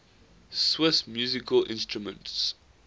swiss musical instruments